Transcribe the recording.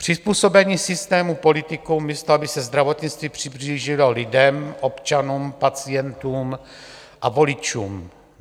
Přizpůsobení systému politikům, místo aby se zdravotnictví přiblížilo lidem, občanům, pacientům a voličům.